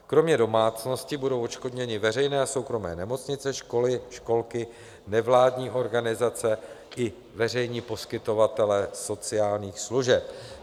Kromě domácností budou odškodněny veřejné a soukromé nemocnice, školy, školky, nevládní organizace i veřejní poskytovatelé sociálních služeb.